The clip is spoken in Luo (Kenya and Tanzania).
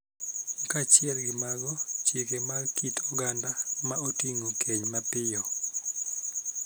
Kaachiel gi mago, chike mag kit oganda ma oting�o keny mapiyo,